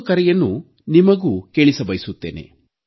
ಒಂದು ಕರೆಯನ್ನು ನಿಮಗೂ ಕೇಳಿಸಬಯಸುತ್ತೇನೆ